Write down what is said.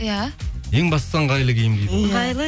иә ең бастысы ыңғайлы киім киіп